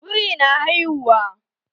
Biri na haihuwa?